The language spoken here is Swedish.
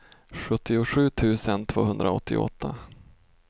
sjuttiosju tusen tvåhundraåttioåtta